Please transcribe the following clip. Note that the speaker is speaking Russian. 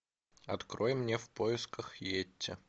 открой мне в поисках йети